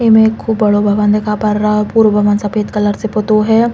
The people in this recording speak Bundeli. इमे खूब बड़ो भवन दिखा पर रओ। पूर भवन सफ़ेद कलर से पुतो है।